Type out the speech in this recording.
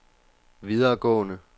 videregående